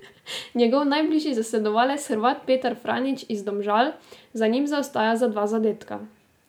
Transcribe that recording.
Njegov najbližji zasledovalec, Hrvat Petar Franjić iz Domžal, za njim zaostaja za dva zadetka.